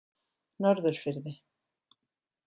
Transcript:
Norðurfirði